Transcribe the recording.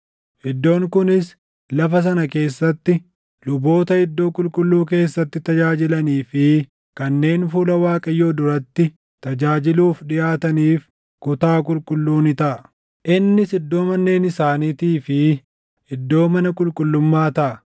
Iddoon kunis lafa sana keessatti luboota iddoo qulqulluu keessatti tajaajilanii fi kanneen fuula Waaqayyoo duratti tajaajiluuf dhiʼaataniif kutaa qulqulluu ni taʼa. Innis iddoo manneen isaaniitii fi iddoo mana qulqullummaa taʼa.